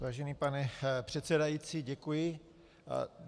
Vážený pane předsedající, děkuji.